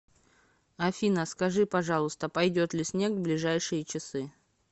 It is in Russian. афина скажи пожалуйста пойдет ли снег в ближайшие часы